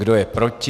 Kdo je proti?